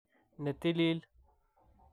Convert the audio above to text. ne tilil.